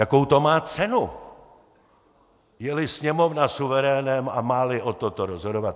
Jakou to má cenu, je-li Sněmovna suverénem a má-li o tomto rozhodovat?